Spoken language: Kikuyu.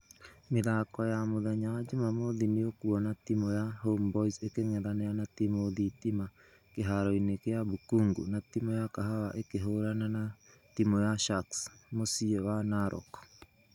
Mithako ya mũthenya wa jumamothi nĩũkuona timu ya homeboyz ĩkĩngethanira na timũ thitima kĩharo-inĩ gia bukhungu na timũ ya kahawa ĩkĩhũrana na timũ ya sharks muciĩ wa narok.